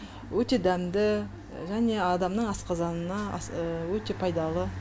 өте дәмді және адамның асқазанына өте пайдалы